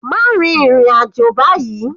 Má rin ìrìn àjò báyìí.